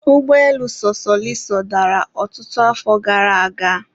ụgbọelu sosoliso dara ọtụtụ afọ gara aga